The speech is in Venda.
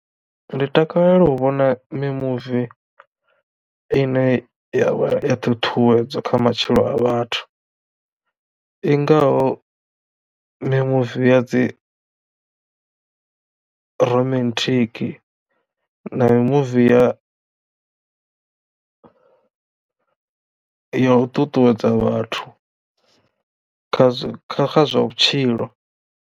Ndi takalela u vhona mimuvi ine ya vha ya ṱuṱuwedza kha matshilo a vhathu i ngaho mimuvi ya dzi romantic na mimuvi ya ya u ṱuṱuwedza vhathu kha zwa kha kha zwa vhutshilo.